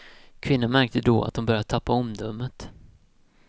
Kvinnan märkte då att hon började tappa omdömet.